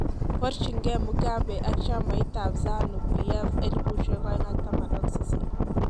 Borchinge Mugabe ak chamit ab Zanu-PF 2018